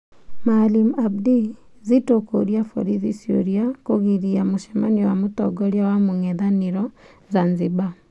Maalim Abdi: Zitto kũria borithi ciuria kũgiria mũcemanio wa mũtongoria wa mũng'ethanĩro Zanzibar.